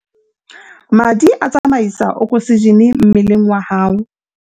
madi a tsamaisa okosejene mmeleng wa hao